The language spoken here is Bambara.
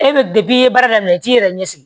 E bɛ i ye baara daminɛ i t'i yɛrɛ ɲɛ sigi